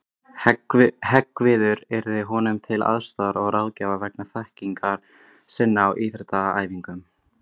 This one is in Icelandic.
Hreggviður yrði honum til aðstoðar og ráðgjafar vegna þekkingar sinnar á íþróttaæfingum.